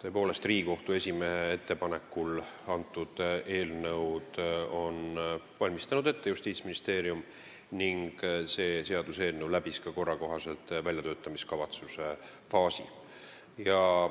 tõepoolest, Justiitsministeerium on Riigikohtu esimehe ettepanekul sellekohase seaduseelnõu ette valmistanud ning see läbis korra kohaselt ka väljatöötamiskavatsuse faasi.